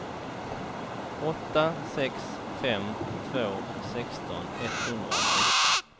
åtta sex fem två sexton etthundrasexton